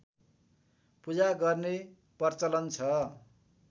पूजा गर्ने प्रचलन छ